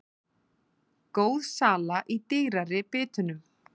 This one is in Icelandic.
Góð sala í dýrari bitunum